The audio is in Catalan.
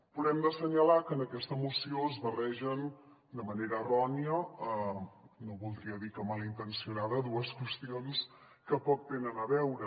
però hem d’assenyalar que en aquesta moció es barregen de manera errònia no voldria dir que malintencionada dues qüestions que poc tenen a veure